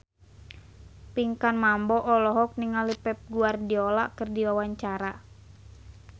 Pinkan Mambo olohok ningali Pep Guardiola keur diwawancara